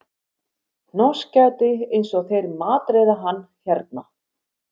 Hnossgæti eins og þeir matreiða hann hérna